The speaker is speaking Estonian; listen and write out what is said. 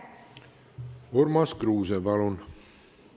Urmas Kruuse, palun!